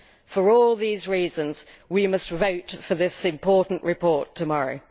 For all these reasons we must vote for this important report tomorrow.